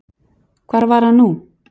Hvar var hann nú?